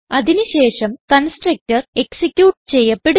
അതിന് ശേഷം constructor execute ചെയ്യപ്പെടുന്നു